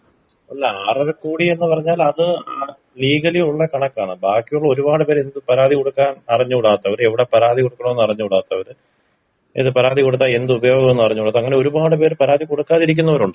അല്ല ആറര കോടി എന്ന് പറഞ്ഞാല് അത് ലീഗലി ഉള്ള കണക്കാണ് ബാക്കിയുള്ള ഒരുപാട് പേര് എന്ത് പരാതി കൊടുക്കാൻ അറിഞ്ഞൂടാത്തവര് എവടെ പരാതി കൊടുക്കണം ന്ന് അറിഞ്ഞൂടാത്തവര് ഇത് പരാതി കൊടുത്താൽ എന്ത് ഉപയോഗം ന്ന് അറിഞ്ഞൂടാത്തവര് അങ്ങനെ ഒരുപാട് പേര് പരാതി കൊടുക്കാതിരിക്കുന്നവരുണ്ടല്ലോ.